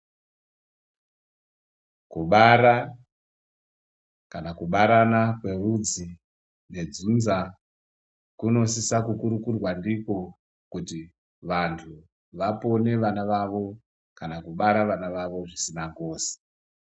Kubara kana kubarana kwerudzi kwedzinza kunosisa kukurukurwa ndiko kuti vantu vapone vana vavo kana kubare vana vavo zvisina ngozi.